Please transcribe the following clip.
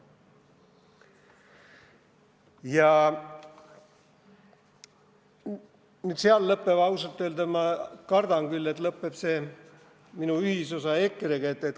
Ja siinkohal lõppeb – ausalt öelda ma kardan küll, et lõppeb – minu ühisosa EKRE-ga.